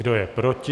Kdo je proti?